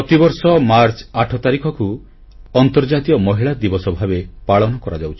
ପ୍ରତିବର୍ଷ ମାର୍ଚ୍ଚ 8 ତାରିଖକୁ ଆନ୍ତର୍ଜାତୀୟ ମହିଳା ଦିବସ ଭାବେ ପାଳନ କରାଯାଉଛି